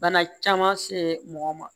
Bana caman se mɔgɔ ma